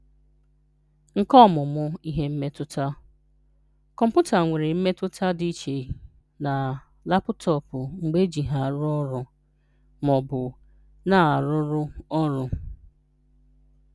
Nke Ọmụmụ: Ịhụ Mmetụta: Kọmpụta nwere mmetụta dị iche na um lapụtọọpụ mgbe eji ha na-arụ ọrụ ma ọ bụ na-arụrụ ọrụ.